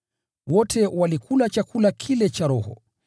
Wote walikula chakula kile kile cha roho,